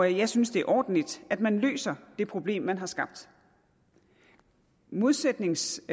jeg synes det er ordentligt at man løser det problem man har skabt modsætningsvis